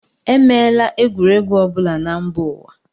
E meela egwuregwu ọ bụla na mba ụwa.